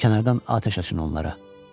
Kənardan atəş açın onlara.